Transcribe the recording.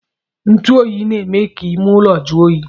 Ntuoyi na-eme ka ime ụlọ jụọ oyi